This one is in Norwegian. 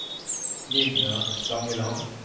Linda Stangeland